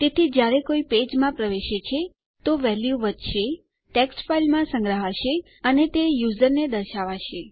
તેથી જયારે કોઈ પેજમાં પ્રવેશે છે તો વેલ્યુ વધશે ટેક્સ્ટ ફાઈલમાં સંગ્રહાશે અને તે યુઝરને દર્શાવાશે